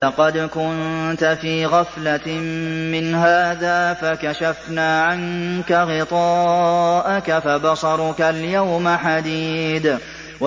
لَّقَدْ كُنتَ فِي غَفْلَةٍ مِّنْ هَٰذَا فَكَشَفْنَا عَنكَ غِطَاءَكَ فَبَصَرُكَ الْيَوْمَ حَدِيدٌ